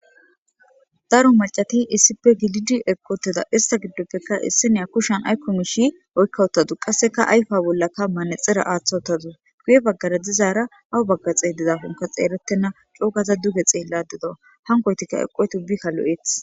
daro macati issipe gilid eqootteda ista giddoppeka isseneya kushan aykkomu shi oykka uttadu qasseka ayfa bollakka maanexira aaththawuttadu guye baggara dizaara awu baggaxee dizaafonka xeerettena coogaza duge xeeladido hankoytikka eqqoytubbi kalo7eth